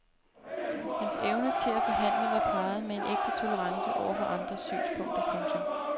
Hans evne til at forhandle var parret med en ægte tolerance over for andres synspunkter. punktum